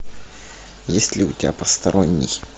есть ли у тебя посторонний